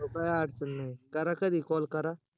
हो काही अडचण नाही करा कधी call करा